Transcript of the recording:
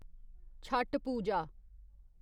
छठ पूजा